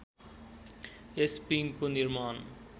यस पिङको निर्माण